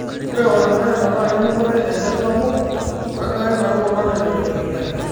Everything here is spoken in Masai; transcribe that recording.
Ore ormureenda naa kening'ore enchan sapuk ,wenkare naruko kake menyor enkijiape.